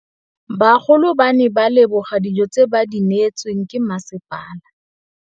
Bagolo ba ne ba leboga dijô tse ba do neêtswe ke masepala.